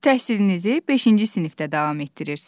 Təhsilinizi beşinci sinifdə davam etdirirsiniz.